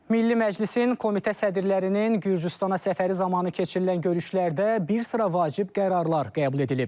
Milli Məclisin komitə sədrlərinin Gürcüstana səfəri zamanı keçirilən görüşlərdə bir sıra vacib qərarlar qəbul edilib.